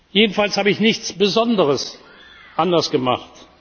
Jedenfalls habe ich nichts Besonderes anders gemacht.